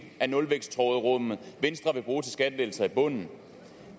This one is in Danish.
af nulvækstråderummet venstre vil bruge til skattelettelser i bunden